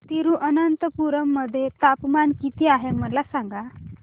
तिरूअनंतपुरम मध्ये तापमान किती आहे मला सांगा